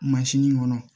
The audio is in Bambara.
Mansin kɔnɔ